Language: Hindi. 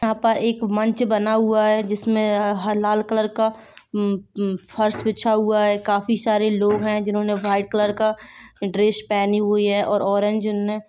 यहाँ पे एक मंच बना हुआ है जिसमें यह लाल कलर का फर्स बिछा हुआ है काफी सारे लोग हैं जिन्होंने व्हाइट कलर का ड्रेस पेहनी हुई है और ऑरेंज जिन ने--